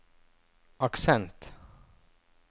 aksent